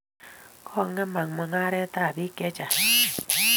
kongemak mungaret ab bik chechang